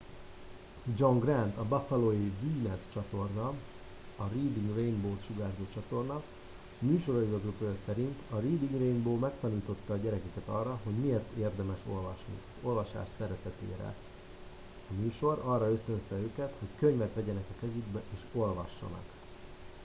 john grant a buffalói wned csatorna areading rainbow-t sugárzó csatorna műsorigazgatója szerint ”a reading rainbow megtanította a gyerekeket arra hogy miért érdemes olvasni... az olvasás szeretetére — [a műsor] arra ösztönözte őket hogy könyvet vegyenek a kezükbe és olvassanak.